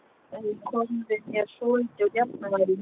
Það hefur komið mér svolítið úr jafnvægi.